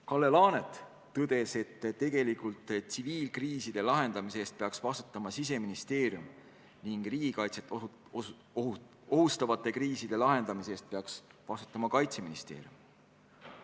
Kalle Laanet tõdes, et tegelikult tsiviilkriiside lahendamise eest peaks vastutama Siseministeerium ning riigikaitset ohustavate kriiside lahendamise eest peaks vastutama Kaitseministeerium.